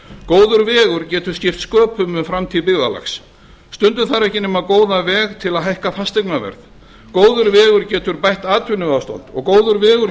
góður vegur getur skipt sköpum um framtíð byggðarlags stundum þarf ekki nema góðan veg til að hækka fasteignaverð góður vegur getur bætt atvinnuástand og góður vegur